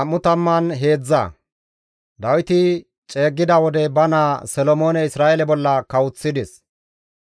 Dawiti ceeggida wode ba naa Solomoone Isra7eele bolla kawoththides.